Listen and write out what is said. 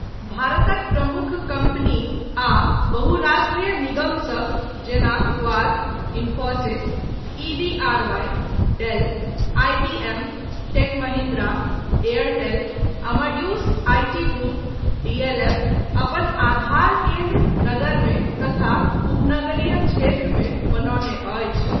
भारतक प्रमुख कम्पनी आ बहुराष्ट्रीय निगमसभ जेना quark, Infosys, EVRY, Dell, IBM, टेकमहिन्द्रा, Airtel, Amadeus IT group, DLF अपन आधार केन्द्र नगरमे तथा उपनगरीय क्षेत्रमे बनौने अछि।